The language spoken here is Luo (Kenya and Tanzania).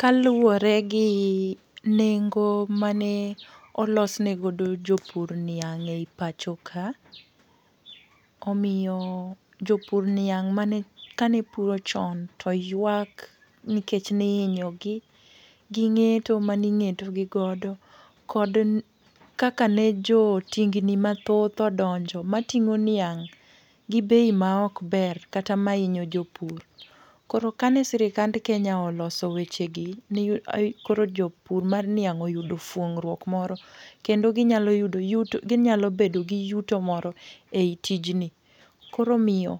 Kaluwore gi nengo mane olos negodo jopur niang' ei pachoka, omiyo jopur niang' mane kanepuro chon to ywak nikech ne ihinyogi. Ging'eto maning'eto gigodo kod kaka ne jo tingni mathoth odonjo mating'o niang', gi bei ma ok ber, kata mahinyo jopur. Koro kane sirikand Kenya oloso wechegi, ni koro jopur mar niang' oyudo fuong'ruok moro, kendo ginyalo yudo yuto, ginyalo bedo gi yuto moro ei tijni. Koro omiyo